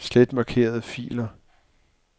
Slet markerede filer.